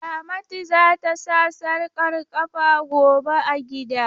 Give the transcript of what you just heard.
Ramatu za ta sa sarƙar ƙafa gobe a gida.